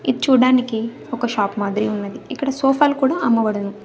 ఇది చూడడానికి ఒక షాప్ మాదిరి ఉన్నది ఇక్కడ సోఫా లు కూడా అమ్మబడును.